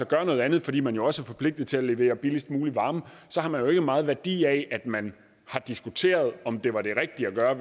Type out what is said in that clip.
gøre noget andet fordi man også er forpligtet til at levere billigst mulig varme så har man jo ikke meget værdi af at man har diskuteret om det var det rigtige at gøre